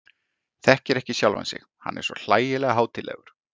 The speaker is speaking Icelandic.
Þekkir ekki sjálfan sig, hann er svo hlægilega hátíðlegur.